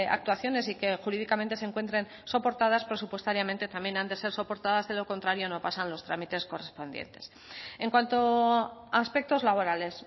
actuaciones y que jurídicamente se encuentren soportadas presupuestariamente también han de ser soportadas de lo contrario no pasan los trámites correspondientes en cuanto a aspectos laborales